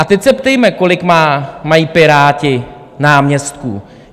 A teď se ptejme, kolik mají Piráti náměstků.